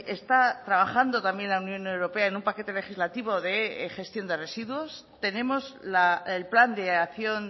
está trabajando también la unión europea en un paquete legislativo de gestión de residuos tenemos el plan de acción